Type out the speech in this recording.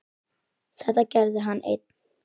Þetta gerði hann einn.